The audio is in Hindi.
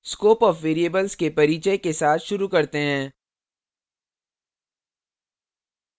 scope of variables के परिचय के साथ शुरू करते हैं